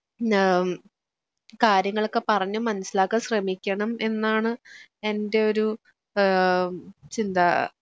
ഏഹ് കാര്യങ്ങളൊക്കെ പറഞ്ഞു മനസ്സിലാക്കാൻ ശ്രമിക്കണം എന്നാണ് എൻറെ ഒരു ഏഹ് ചിന്ത